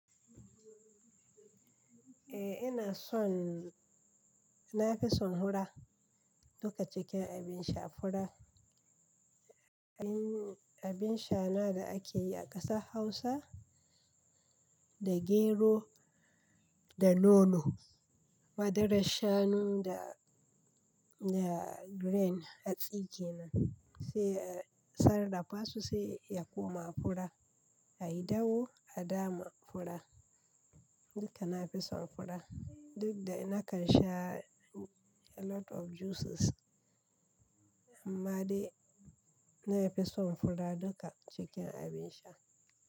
Eh ina son, na fi son hura duka cikin abin sha fura. Abin, abin sha na da ake yi a ƙasar Hausa da gero da nono, madarar shanu da, da grain a tsike nan sai a sarrafasu sai ya koma fura. A yi dahu a dama fura. Duka na fi son fura. Duk da na kan sha a lot of juices amma dai na fi son fura duka cikin abin sha.